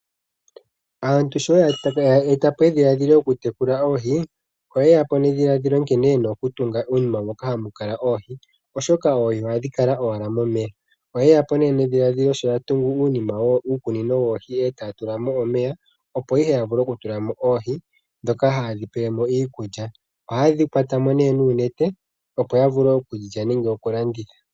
Aantu sho ye eta po edhiladhilo lyokutekula oohi, oye ya po nedhiladhilo nkene ye na okutunga po uunima moka hamu kala oohi oshoka oohi ohadhi kala owala momeya Oye ya po nee nedhiladhilo sho ya tungu uunima wokukunina oohi e taa tula mo omeya, opo ihe ya vule okutula mo oohi, ndhoka haye dhi pele mo iilya. Ohaye dhi kwata mo nuunete opo ya vule okudhi lya nenge okulanditha.